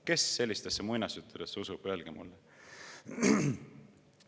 Kes sellistesse muinasjuttudesse usub, öelge mulle!